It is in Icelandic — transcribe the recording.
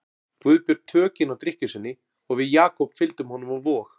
Guðbjörn tökin á drykkju sinni og við Jakob fylgdum honum á Vog.